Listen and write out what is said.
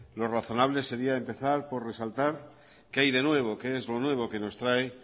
lo razonable sería empezar por resaltar qué hay de nuevo qué es lo nuevo que nos trae